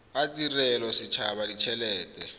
a tirelo a setshaba ditshelete